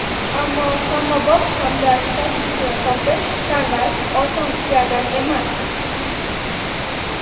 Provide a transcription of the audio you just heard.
Ammo hammabop, hamda sifatlisini topish, tanlash oson ishlardan emas.